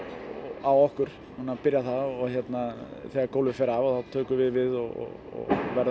á okkur núna byrjar það þegar gólfið fer af þá tökum við við og verðum